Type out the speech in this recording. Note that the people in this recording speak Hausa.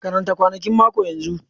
Karanta kwanakin mako yanzu!